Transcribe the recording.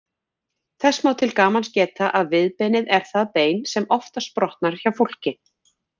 Þess má til gamans geta að viðbeinið er það bein sem oftast brotnar hjá fólki.